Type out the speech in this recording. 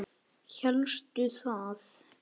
Hélstu það?